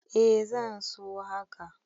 Eh zan so haka.